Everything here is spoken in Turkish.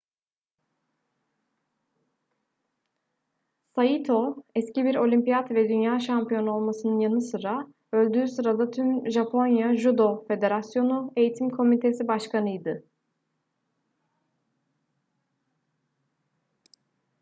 saito eski bir olimpiyat ve dünya şampiyonu olmasının yanı sıra öldüğü sırada tüm japonya judo federasyonu eğitim komitesi başkanıydı